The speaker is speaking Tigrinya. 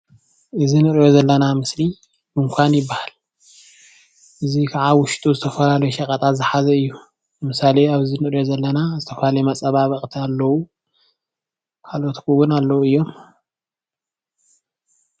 እዚ ንሪኦ ዘለና ምስሊ ድንኳን ይበሃል ፡፡ እዙይ ከዓ ኣብ ዉሽጡ ዝተፈላለዩ ሸቀጣት ዝሓዘ እዩ ።ለምሳሌ ኣብዚ ንርኦ ዘለና ኣብዚ ዝተፈላለዩ መፀባበታትቲ ኣለዉ ። ካልኦት እዉን ኣለዉ እዮም ፡፡